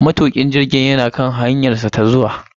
Matukin jirgin yana kan hanyarsa ta zuwa.